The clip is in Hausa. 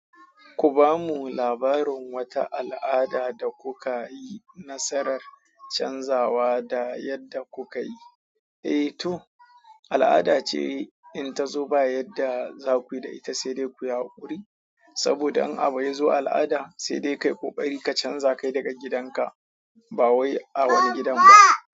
Ku ba mu labarin wata al'ada da kuka yi nasarar canzawa da yadda kuka yi. Eh to, al'ada ce in ta zo ba yadda za ku yi da ita, sai dai ku yi haƙuri. Saboda in abu yazo al'ada, sai dai kai ƙoƙari ka canza kai daga gidanka, ba wai a wani gidan ba.